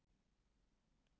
Hann er skrímslið.